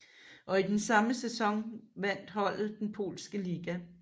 Og i den samme sæson vandt holdet den polske liga